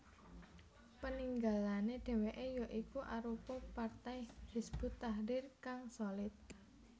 Peninggalane dheweke ya iku arupa partai Hizbut Tahrir kang solid